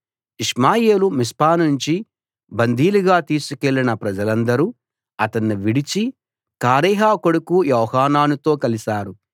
ఇష్మాయేలు మిస్పానుంచి బందీలుగా తీసుకెళ్ళిన ప్రజలందరు అతన్ని విడిచి కారేహ కొడుకు యోహానానుతో కలిశారు